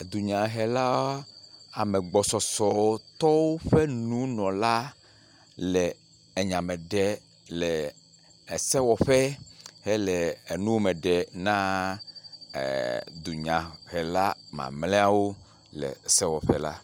Dunyahela ame gbɔsɔsɔtɔwo ƒe nunɔla le nya me ɖe le esewɔƒe hele enuwo me ɖe na e… dunyahela mamlɛawo le sewɔƒe la.